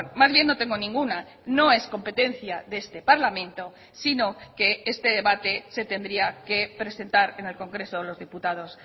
más bien no tengo ninguna no es competencia de este parlamento sino que este debate se tendría que presentar en el congreso de los diputados